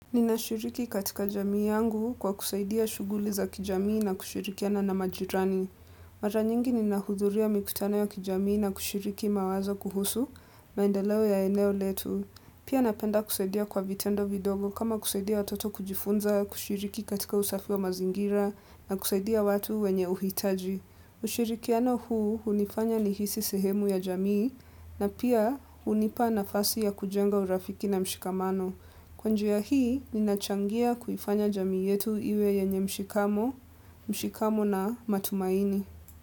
Ninashiriki katika jamii yangu kwa kusaidia shughuli za kijamii na kushirikiana na majirani. Mara nyingi ni nahudhuria mikutano ya kijamii na kushiriki mawazo kuhusu maendeleo ya eneo letu. Pia ninapenda kusaidia kwa vitendo vidogo kama kusaidia watoto kujifunza kushiriki katika usafi wa mazingira na kusaidia watu wenye uhitaji. Ushirikiano huu hunifanya nihisi sehemu ya jamii na pia hunipa nafasi ya kujenga urafiki na mshikamano. Kwa njia hii, ninachangia kuifanya jamii yetu iwe yenye mshikamo, mshikamo na matumaini.